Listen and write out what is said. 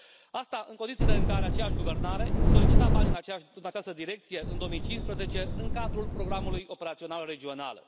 Asta în condițiile în care aceeași guvernare solicita bani în aceeași direcție în 2015 în cadrul programului operațional regional.